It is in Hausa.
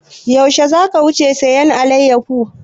Yaushe za ka wuce sayan alayyafo?